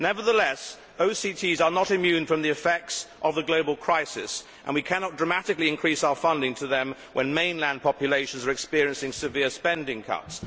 Nevertheless, OCTs are not immune from the effects of the global crisis and we cannot dramatically increase our funding to them when mainland populations are experiencing severe spending cuts.